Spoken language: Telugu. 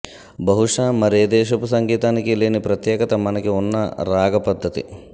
బహుశ మరేదేశపు సంగీతానికీ లేని ప్రత్యేకత మనకి ఉన్న రాగ పద్ధతి